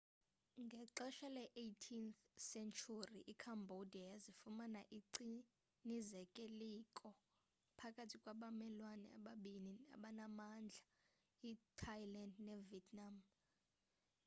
ngexesha le-18th sentyhuri icambodia yazifumana icinezelekile phakathi kwabamelwane ababini abanamandla ithailand nevietnam